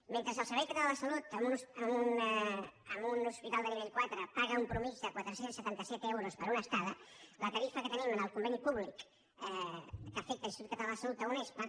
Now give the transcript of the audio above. mentre el servei català de la salut a un hospital de nivell quatre paga una mitjana de quatre cents i setanta set euros per una estada la tarifa que tenim en el conveni públic que afecta l’institut català de la salut a unespa